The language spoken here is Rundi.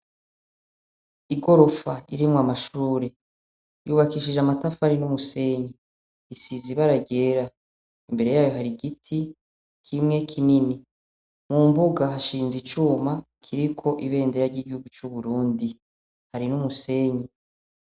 Igorofa irimwo amashure yubakishije amatafari n'umusenyi. Isize ibara ryera. Imbere yayo hari igiti kimwe kinini. Mu mbuga hashinze icuma kiriko ibendera ry'igihugu c'Uburundi; hari n'umusenyi.